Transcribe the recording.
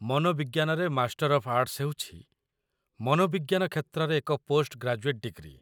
ମନୋବିଜ୍ଞାନରେ master of arts ହେଉଛି ମନୋବିଜ୍ଞାନ କ୍ଷେତ୍ରରେ ଏକ ପୋଷ୍ଟ ଗ୍ରାଜୁଏଟ୍ ଡିଗ୍ରୀ